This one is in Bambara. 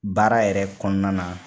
Baara yɛrɛ kɔnɔna na